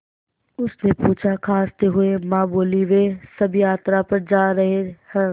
उसने पूछा खाँसते हुए माँ बोलीं वे सब यात्रा पर जा रहे हैं